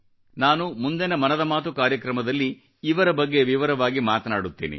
ನಾನು ಮುಂದಿನ ಮನದ ಮಾತು ಕಾರ್ಯಕ್ರಮದಲ್ಲಿ ಇವರ ಬಗ್ಗೆ ವಿವರವಾಗಿ ಮಾತನಾಡುತ್ತೇನೆ